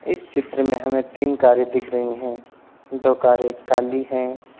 इस चित्र में हमें तीन कारें दिख रही हैं दो कारें काली हैं।